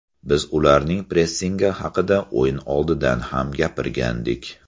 Biz ularning pressingi haqida o‘yin oldidan ham gapirgandik.